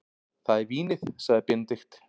Það er vínið, sagði Benedikt.